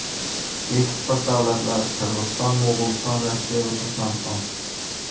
Eksport davlatlari Qirg‘iziston, Mo‘g‘uliston, Rossiya va Turkmaniston.